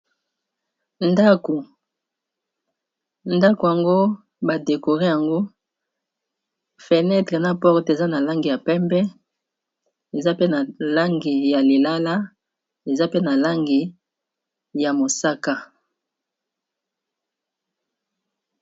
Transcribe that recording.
Ndako yango badekore yango fenetre na porte eza na langi ya pembe eza pe na langi ya lilala eza pe na langi ya mosaka.